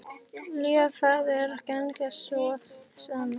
Viljið þið ganga svo langt?